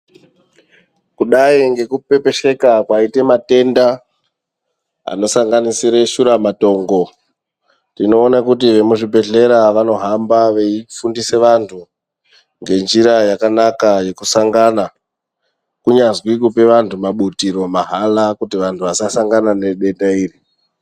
Kudai ngekupepesheka kwaite matenda anosanganisira shuramatongo tinoone kuti vemuzvibhedhlera vanohamba veifundisa vantu ngenjira yakanaka yekusangana kunyazwi kupa vantu mabutiro mahara kuti vantu vasasangana nedenda iri.